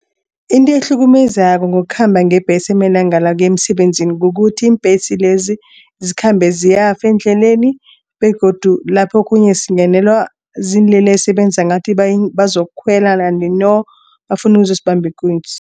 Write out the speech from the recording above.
Into ehlukumezako ngokukhamba ngembhesi amalanga la ukuya emsebenzini. Kukuthi iimbhesi lezi zikhamba ziyafa endleleni begodu lapho okhunye singenela ziinlelesi ebenza ngathi bazokukhwela no bafuna ukuzosibamba ikunzi.